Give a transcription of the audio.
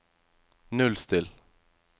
nullstill